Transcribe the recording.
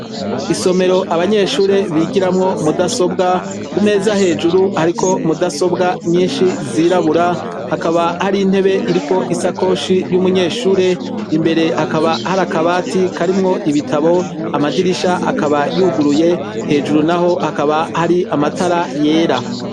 Isomero abanyeshuri bigiramwo mudasobwa ku meza hejuru hariko mudasobwa nyishi zirabura hakaba hari intebe iriko isakoshi y'umunyeshuri imbere hakaba hari akabati karimwo ibitabo madirisha akaba yuguruye hejuru naho hakaba hari amatara yera.